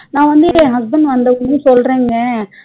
நா வந்துட்டு என் husband வந்ததுமே சொல்றங்க